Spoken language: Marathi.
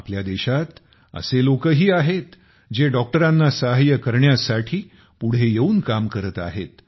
आपल्या देशात असे लोकही आहेत जे डॉक्टरांना सहाय्य करण्यासाठी पुढे येऊन काम करत आहेत